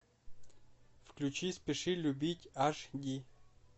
включи спеши любить аш ди